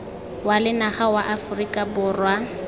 wa lenaga wa aforika borwa